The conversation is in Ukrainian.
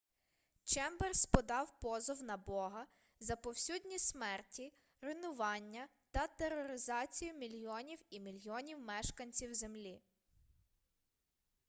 чемберс подав позов на бога за повсюдні смерті руйнування та тероризацію мільйонів і мільйонів мешканців землі